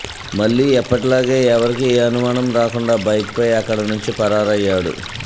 మళ్లీ ఎప్పటిలాగే ఎవరికి ఏ అనుమానం రాకుండా బైక్పై అక్కడి నుంచి పరారయ్యడు